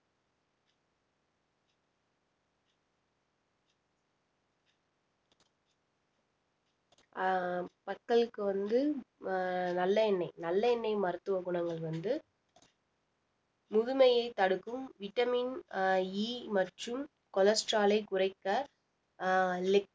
ஆஹ் பற்களுக்கு வந்து அஹ் நல்லெண்ணெய் நல்லெண்ணெய் மருத்துவ குணங்கள் வந்து முதுமையை தடுக்கும் vitamin அஹ் E மற்றும் cholesterol ஐ குறைக்க அஹ்